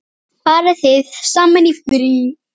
Farið þið saman í frí?